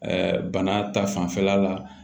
bana ta fanfɛla la